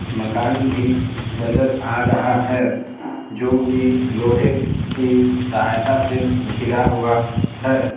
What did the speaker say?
मकान भी नजर आ रहा है जो कि लोहे की सहायता से घिरा हुआ है।